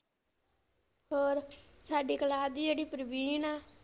ਹੋਰ ਸਾਡੀ ਕਲਾਸ ਦੀ ਜਿਹੜੀ ਪ੍ਰਵੀਨ ਆ।